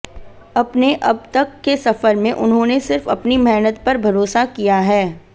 अपने अब तक के सफर में उन्होंने सिर्फ अपनी मेहनत पर भरोसा किया है